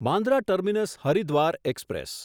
Bandra terminus Haridwar express